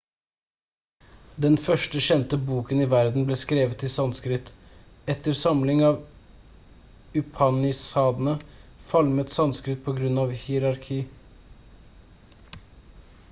den første kjente boken i verden ble skrevet i sanskrit etter samling av upanishadene falmet sanskrit på grunn av hierarki